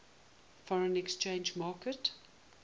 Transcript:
foreign exchange market